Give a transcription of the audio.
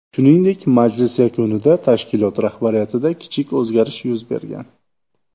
Shuningdek, majlis yakunida tashkilot rahbariyatida kichik o‘zgarish yuz bergan.